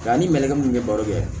Nka ni malɛgɛ mun bɛ baro kɛ